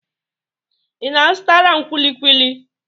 Ị na-azụtara m kwuli kwuli?